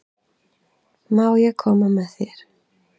Má ég koma með þér?